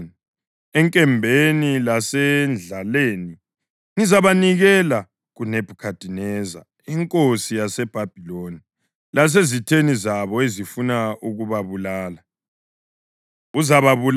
Emva kwalokho, kutsho uThixo, uZedekhiya inkosi yakoJuda, lezikhulu zakhe kanye labantu bakulelidolobho abaphepha emkhuhlaneni, enkembeni lasendlaleni, ngizabanikela kuNebhukhadineza inkosi yaseBhabhiloni lasezitheni zabo ezifuna ukubabulala. Uzababulala ngenkemba; kayikuba lomusa kumbe uzwelo loba isihawu.’